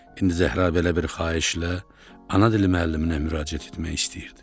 İndi Zəhra belə bir xahişlə ana dili müəlliminə müraciət etmək istəyirdi.